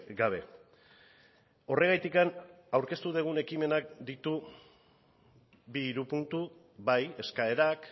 gabe horregatik aurkeztu dugun ekimenak ditu bi hiru puntu bai eskaerak